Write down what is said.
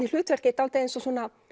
í hlutverki dálítið eins og